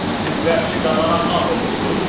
Siz vəhşi qabana ağ olursunuz?